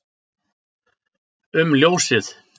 um ljósið